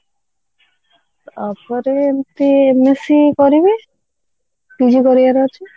ୟା ପରେ ଏମିତି MSC କରିବି PG କରିବାର ଅଛି